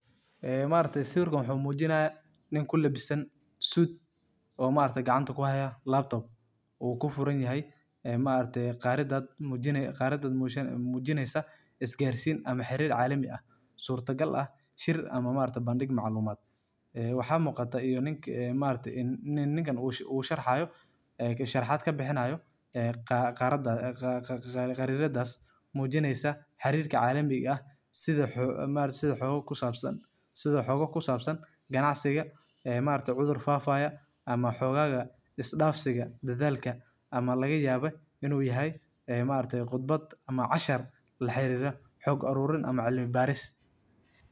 Khariidada adduunka waa sawir ballaaran oo muujinaya dhammaan qaaradaha, badaha, iyo waddamada dunida oo dhan, taasoo ka caawinaysa dadka inay fahmaan meelaynta juquraafiyeed ee dalalka iyo deegaanada kala duwan. Khariidadani waxay ka kooban tahay calaamado iyo midabyo kala duwan oo lagu muujiyo noocyada dhulka sida buuraha, lamadegaanka, kaymaha, iyo webiyada waaweyn, taasoo sahleysa in la arko sida cimiladu u saameyso goobaha kala duwan.